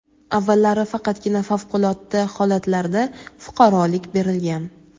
Avvallari faqatgina favqulodda holatlarda fuqarolik berilgan.